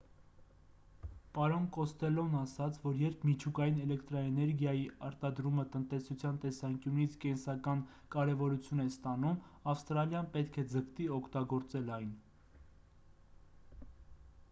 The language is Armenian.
պարոն կոստելլոն ասաց որ երբ միջուկային էլեկտրաէներգիայի արտադրումը տնտեսության տեսանկյունից կենսական կարևորություն է ստանում ավստրալիան պետք է ձգտի օգտագործել այն